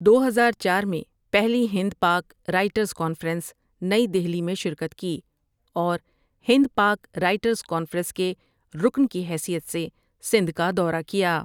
دو ہزار چار میں پہلی ہند پاک رائٹرز کانفرنس نئی دہلی میں شرکت کی اور ہند پاک رائٹرز کانفرنس کے رکن کی حیثیت سے سندھ کا دورہ کیا ۔